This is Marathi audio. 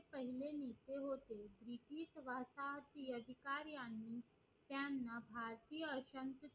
भारतात ही अधिकारी यांनी त्यांना भारतीय